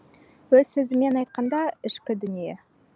өз сөзімен айтқанда ішкі дүние